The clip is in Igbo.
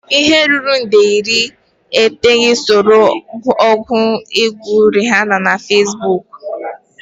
Ihe ruru nde iri iteghete soro ọgụ egwu Rihanna na Facebook.